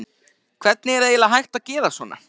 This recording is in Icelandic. Hvernig er eiginlega hægt að gera svona?